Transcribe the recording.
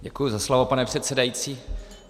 Děkuji za slovo, pane předsedající.